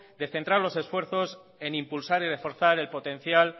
de centrar los esfuerzos en impulsar y reforzar el potencial